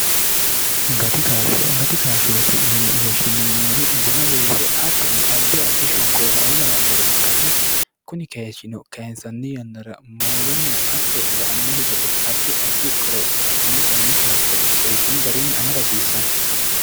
gati kaashsho gati kaashshooti yine woshshineemmori buna weese attono addi addi shoonkoo raoo lawannore ikkanna kuni keeshshino kaensanni yannara moolenna hatto ba annohi gede addi addi qoropho adhine konye kaashsho seekkine garunni amadahasiissanno